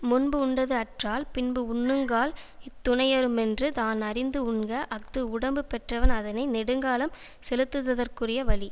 முன்பு உண்டது அற்றால் பின்பு உண்ணுங்கால் இத்துணையறுமென்று தான் அறிந்து உண்க அஃது உடம்பு பெற்றவன் அதனை நெடுங்காலம் செலுத்துததற்குரிய வழி